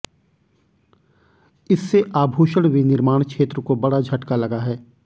इससे आभूषण विनिर्माण क्षेत्र को बड़ा झटका लगा है